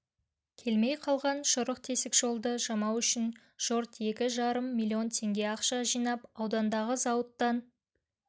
келмей қалған шұрық-тесік жолды жамау үшін жұрт екі жарым миллион теңге ақша жинап аудандағы зауыттан